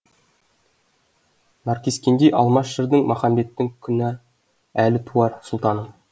наркескендей алмас жырдың махамбеттің күні әлі туар сұлтаным